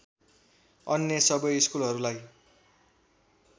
अन्य सबै स्कुलहरूलाई